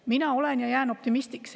Mina olen ja jään optimistiks.